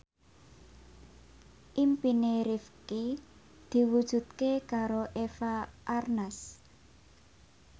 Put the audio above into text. impine Rifqi diwujudke karo Eva Arnaz